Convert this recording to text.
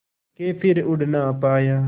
के फिर उड़ ना पाया